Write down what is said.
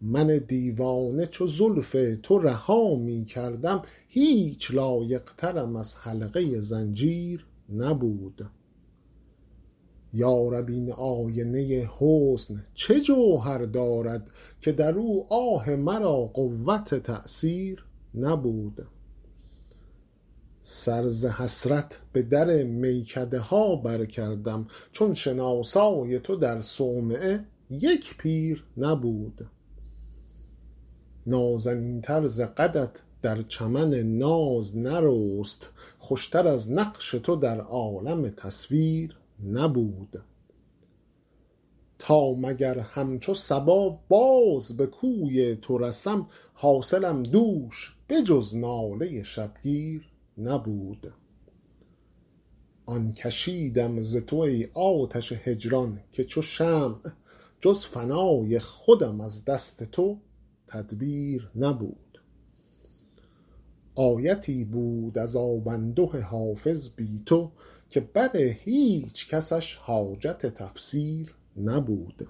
من دیوانه چو زلف تو رها می کردم هیچ لایق ترم از حلقه زنجیر نبود یا رب این آینه حسن چه جوهر دارد که در او آه مرا قوت تأثیر نبود سر ز حسرت به در میکده ها برکردم چون شناسای تو در صومعه یک پیر نبود نازنین تر ز قدت در چمن ناز نرست خوش تر از نقش تو در عالم تصویر نبود تا مگر همچو صبا باز به کوی تو رسم حاصلم دوش به جز ناله شبگیر نبود آن کشیدم ز تو ای آتش هجران که چو شمع جز فنای خودم از دست تو تدبیر نبود آیتی بود عذاب انده حافظ بی تو که بر هیچ کسش حاجت تفسیر نبود